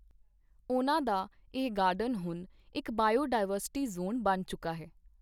ਉਨ੍ਹਾਂ ਦਾ ਇਹ ਗਾਰਡਨ ਹੁਣ ਇੱਕ ਬਾਇਓਡਾਇਵਰਸਿਟੀ ਜ਼ੋਨ ਬਣ ਚੁੱਕਾ ਹੈ।